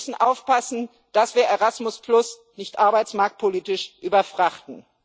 Wir müssen aufpassen, dass wir Erasmus nicht arbeitsmarktpolitisch überfrachten.